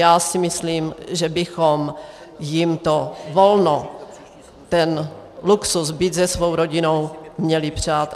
Já si myslím, že bychom jim to volno, ten luxus být se svou rodinou, měli přát.